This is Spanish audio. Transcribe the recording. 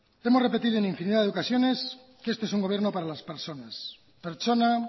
hemos repetido en infinidad de ocasiones que este es un gobierno para las personas pertsona